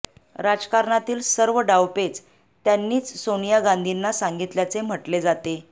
राजकारणातील सर्व डावपेच त्यांनीच सोनिया गांधीना सांगितल्याचे म्हटले जाते